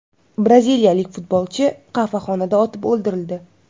Braziliyalik futbolchi qahvaxonada otib o‘ldirildi.